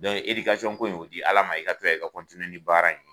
Dɔnku edikasɔn kason ko in o di ala ma i ka to yan i ka kɔntiniye ni baara in ye